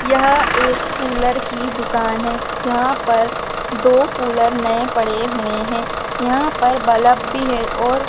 यह एक कूलर की दुकान है जहां पर दो कूलर नये पड़े हुए हैं यहां पर बलब भी है और--